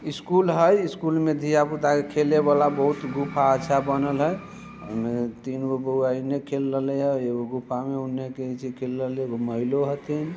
इस स्कूल है स्कूल में दिहा पूता के खेले वाला बहुत गुफा सा बनल है एम तीनगो बउआ इन्हें खेल रहल है एगो गुफा में उन्हे कही से खेल रहल है एगो महिलो हथी